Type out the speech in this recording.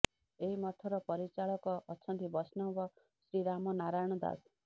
ଏହି ମଠର ପରିଚାଳକ ଅଛନ୍ତି ବୈଷ୍ଣବ ଶ୍ରୀ ରାମ ନାରାୟଣ ଦାସ